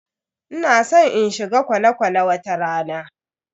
Ina san in shiga kwale-kwale wata rana.